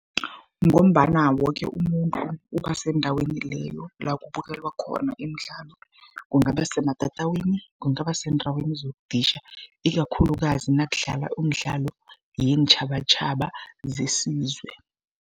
Ngombana woke umuntu uba sendaweni leyo, la kubukelwa khona imidlalo. Kungaba sematatawini, kungaba seendaweni zokuditjha, ikakhulukazi nakudlalwa umdlalo yeentjhabatjhaba zesizwe.